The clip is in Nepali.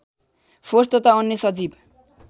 फोर्स तथा अन्य सजीव